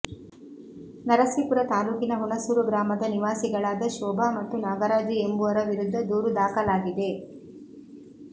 ನರಸೀಪುರ ತಾಲೂಕಿನ ಹುಣಸೂರು ಗ್ರಾಮದ ನಿವಾಸಿಗಳಾದ ಶೋಭ ಮತ್ತು ನಾಗರಾಜು ಎಂಬುವರ ವಿರುದ್ಧ ದೂರು ದಾಖಲಾಗಿದೆ